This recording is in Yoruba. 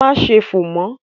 Máa ṣe fò mọ́!